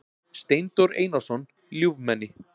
Steindór Einarsson ljúfmenni.